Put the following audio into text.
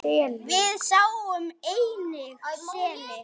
Við sáum einnig seli.